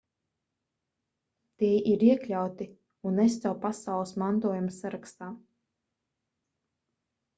tie ir iekļauti unesco pasaules mantojuma sarakstā